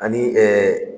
Ani